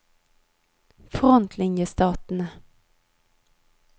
frontlinjestatene